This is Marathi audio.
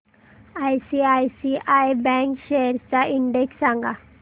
आयसीआयसीआय बँक शेअर्स चा इंडेक्स सांगा